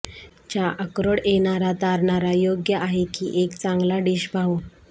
च्या अक्रोड येणारा तारणारा योग्य आहे की एक चांगला डिश पाहू